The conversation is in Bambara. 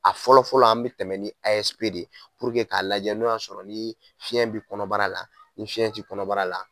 A fɔlɔ fɔlɔ an mi tɛmɛ ni de ye k'a lajɛ n'o y'a sɔrɔ ni fiɲɛ bi kɔnɔbara la, ni fiɲɛ ti kɔnɔbara la.